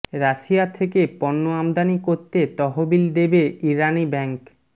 Russia থেকে পণ্য আমদানি করতে তহবিল দেবে ইরানি ব্যাংক